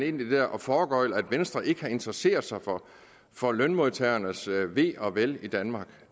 ind i det her og foregøgle at venstre ikke interesserer sig for lønmodtagernes ve og vel i danmark